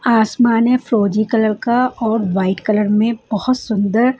आसमान है फ्रोजी कलर का और वाइट कलर में बहुत सुंदर।